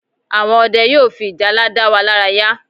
Àwọn Ọdẹ yóò fi ìjálá da wa lára ya